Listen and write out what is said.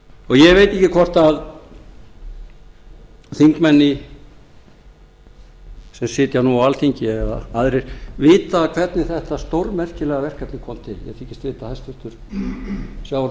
ekki hvort að þingmenn sem sitja nú á alþingi eða aðrir vita hvernig þetta stórmerkilega verkefni kom til ég þykist vita að hæstvirtur sjávarútvegs